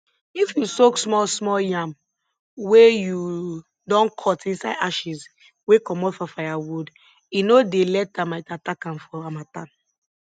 if you soak small small yam wey u don cut inside ashes wey comot for firewood e no dey let termite attack am for harmattan